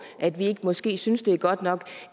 at vi måske ikke synes det er godt nok